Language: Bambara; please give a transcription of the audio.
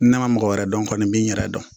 N nana mɔgɔ wɛrɛ dɔn kɔni n be n yɛrɛ dɔn